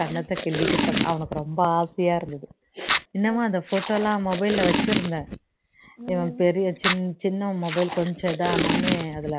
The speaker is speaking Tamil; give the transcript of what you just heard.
கன்னத்தை கிள்ளிட்டு அவனுக்கு ரொம்ப ஆசையா இருந்தது இன்னுமா அந்த photo எல்லாம் mobile ல வச்சுருந்தேன் இவன் பெரிய சின் சின்னவன் mobile கொஞ்சம் இதான உடனே அதுல